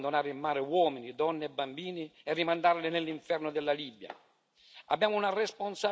L'Europa non può abbandonare in mare uomini, donne e bambini e rimandarli nell'inferno della Libia.